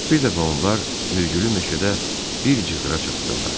Bir dəfə onlar mirgülü meşədə bir cığra çatdılar.